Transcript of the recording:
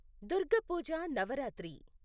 Durga Puja Navratri